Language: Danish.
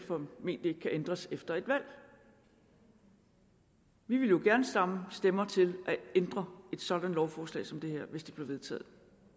ændres efter et valg vi ville jo gerne samle stemmer til at ændre et sådant lovforslag som det her hvis det blev vedtaget